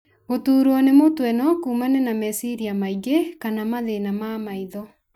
Gũtuurwo nĩ mũtwe no kũmane na meciria maingĩ kana mathĩna ma maitho.